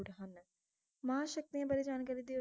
ਮਹਾ ਸ਼ਕਤੀਆਂ ਬਾਰੇ ਜਾਣਕਾਰੀ ਦੇਯੋ